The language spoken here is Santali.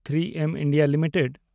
᱓ᱮᱢ ᱤᱱᱰᱤᱭᱟ ᱞᱤᱢᱤᱴᱮᱰ